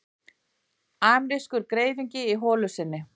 Amerískur greifingi í holu sinni.